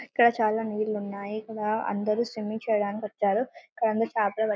ఇక్కడ చాలా నీళ్ళున్నాయి ఇక్కడ అందరరు స్విమ్మింగ్ చేయడానికి వచ్చారు కానీ అందరూ చాపలు --.